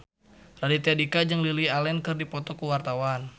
Raditya Dika jeung Lily Allen keur dipoto ku wartawan